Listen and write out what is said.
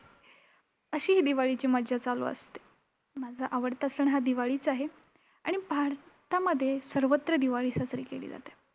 अशी ही दिवाळीची मज्जा चालू असते. माझा आवडता सण हा दिवाळीच आहे. आणि भारतामध्ये सर्वत्र दिवाळी साजरी केली जाते.